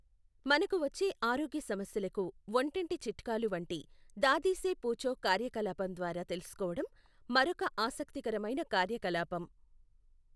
మనకు వచ్చే ఆరోగ్య సమస్యలకు వంటింటి చిట్కాలు వంటి, దాదీ సే పూఛో కార్యకలాపం ద్వారా తెలుసుకోవడం మరొక ఆసక్తికరమైన కార్యకలాపం.